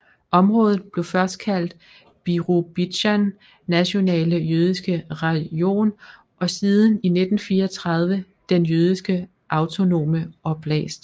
Området blev først kaldet Birobidzjan nationale jødiske rajon og siden i 1934 den Jødiske autonome oblast